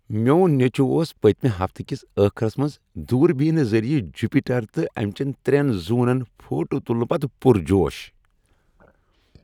میون نیٚچو اوس پٔتمہ ہفتہٕ کس ٲخرس منٛز دوربینہٕ ذریعہ جُپِٹر تہٕ أمۍ چین ترین زونن فوٹو تلنہٕ پتہٕ پرجوش۔